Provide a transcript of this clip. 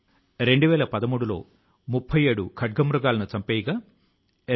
ఇప్పుడు దీన్ని సరిదిద్దేందుకే ఈ ఎయర్ గన్ సరెండర్ ప్రచార ఉద్యమం నడుస్తోంది